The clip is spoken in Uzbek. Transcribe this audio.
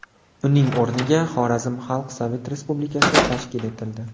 Uning o‘rniga Xorazm Xalq Sovet Respublikasi tashkil etildi.